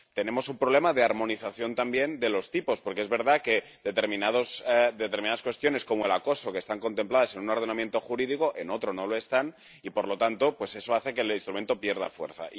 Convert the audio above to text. Tenemos un problema de armonización, también, de los tipos, porque es verdad que determinadas cuestiones, como el acoso, que están contempladas en un ordenamiento jurídico en otro no lo están, y por lo tanto eso hace que el instrumento pierda fuerza.